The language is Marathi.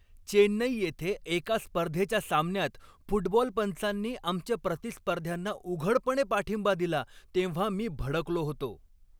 चेन्नई येथे एका स्पर्धेच्या सामन्यात फुटबॉल पंचांनी आमच्या प्रतिस्पर्ध्यांना उघडपणे पाठिंबा दिला तेव्हा मी भडकलो होतो.